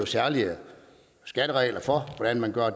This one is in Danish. særlige skatteregler for hvordan man gør